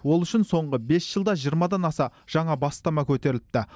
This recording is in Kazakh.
ол үшін соңғы бес жылда жиырмадан аса жаңа бастама көтеріліпті